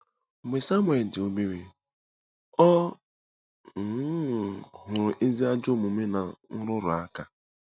Mgbe Samuel dị obere, ọ um hụrụ ezi ajọ omume na nrụrụ aka.